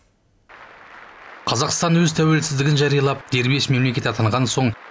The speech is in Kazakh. қазақстан өз тәуелсіздігін жариялап дербес мемлекет атанған соң